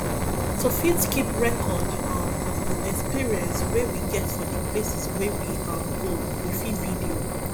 to fit keep record um of di experience wey we get for di places wey we um go we fit video